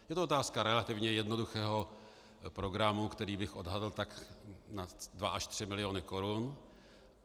Je to otázka relativně jednoduchého programu, který bych odhadl tak na dva až tři miliony korun.